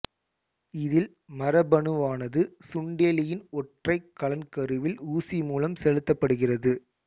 இதில் மரபணுவானது சுண்டெலியின் ஒற்றை கலன் கருவில் ஊசிமூலம் செலுத்தப்படுகிறது